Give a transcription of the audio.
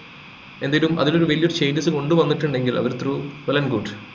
എന്തിനും അതിനൊരു വല്യ changes കൊണ്ടുവന്നിട്ടുണ്ടെങ്കിൽ അവര് through fallen good